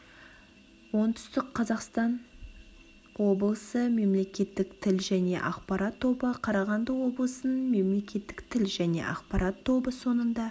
оңтүстік қазақстан облысы мемлекеттік тіл және ақпарат тобы қарағанды облысының мемлекеттік тіл және ақпарат тобы соңында